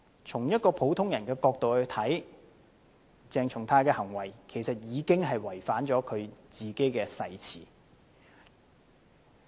從普通人的角度看來，鄭松泰議員的行為其實已經違反自己的誓詞。